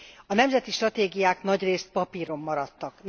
A nemzeti stratégiák nagyrészt papíron maradtak.